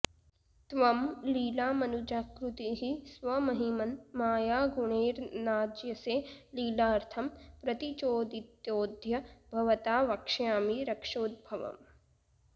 त्वं लीलामनुजाकृतिः स्वमहिमन् मायागुणैर्नाज्यसे लीलार्थं प्रतिचोदितोऽद्य भवता वक्ष्यामि रक्षोद्भवम्